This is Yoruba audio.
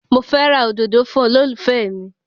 Mo fẹ́ ra òdòdó fún olólùfẹ́ mi